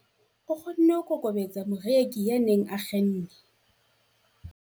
O kgonne ho kokobetsa moreki ya neng a kgenne.